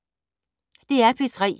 DR P3